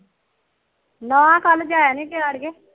ਨਾ ਕੱਲ ਜਾਇਆ ਨੀ ਗਿਆ ਆੜੀਏ